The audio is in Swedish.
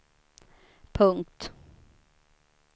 punkt